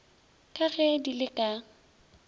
ka ge di le ka